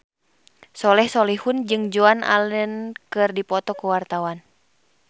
Soleh Solihun jeung Joan Allen keur dipoto ku wartawan